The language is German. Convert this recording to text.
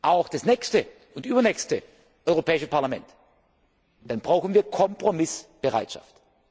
auch für das nächste und übernächste Europäische Parlament, dann brauchen wir Kompromissbereitschaft.